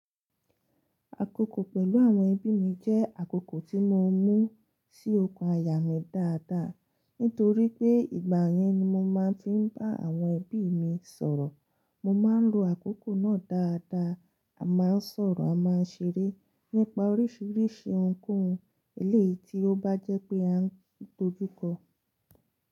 Àkókò pẹ̀lú àwọn ẹbí mi jẹ́ àkókò tí mo mú sí okun àyà mí dáadáa. Nítorí pé ìgbà yẹn ni mo máa ń fi bá àwọn ẹbí mi sọ̀rọ̀. Mo máa ń lo àkókò náà dáadáa, a máa ń sọ̀rọ̀, a máa ń ṣeré nípa oríṣiríṣi ohunkóhun eléyìí tí ó bá jẹ́ pé a ń dojú kọ.